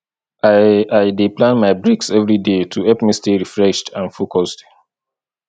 i i dey plan my breaks every day to help me stay refreshed and focused